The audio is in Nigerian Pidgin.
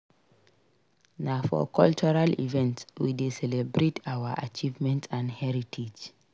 Na for cultural events we dey celebrate our achievements and heritage.